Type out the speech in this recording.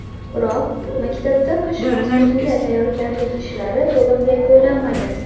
Biroq maktabda qish mavsumiga tayyorgarlik ishlari to‘liq yakunlanmagan.